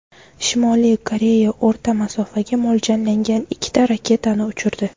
Shimoliy Koreya o‘rta masofaga mo‘ljallangan ikkita raketani uchirdi.